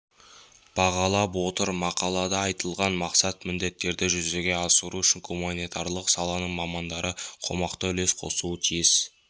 бағалап отыр мақалада айтылған мақсат-міндеттерді жүзеге асыру үшін гуманитарлық саланың мамандары қомақты үлес қосуы тиіс